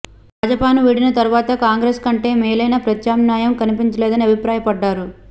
భాజపాను వీడిన తరవాత కాంగ్రెస్ కంటే మేలైన ప్రత్యామ్నాయం కనిపించలేదని అభిప్రాయపడ్డారు